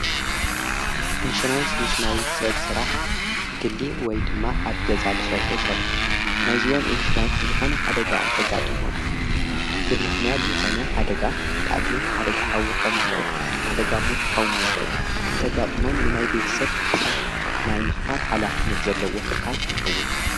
ኢንሹራንስ ምስ ናይ ሰብ ስራሕ ግሊ ወይ ድማ ኣብ ገዛ ልሰርሑ ሰባት ናይእዚኦም ኢንሹራንስ ዝኾነ ሓደጋ እንተጋጥሞም ብምኽንያት ዝኾነ ሓደጋ ንአብነት ሓደጋ ሓዊ ክኾን ይኽእል ፣ ሓደጋ ሞት ክኸዉን ይኽእል እንተጋጥሞም ንናይ ቤት ሰብ ካሕሳ ናይ ምኽፋል ሓላፍነት ዘለዎ ትካል ይኸውን።